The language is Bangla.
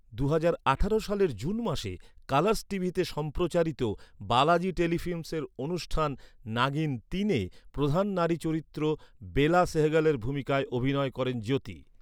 দুহাজার আঠারো সালের সালের জুন মাসে, কালার্স টিভিতে সম্প্রচারিত বালাজি টেলিফিল্মসের অনুষ্ঠান নাগিন তিনে প্রধান নারী চরিত্র বেলা সেহগালের ভূমিকায় অভিনয় করেন জ্যোতি।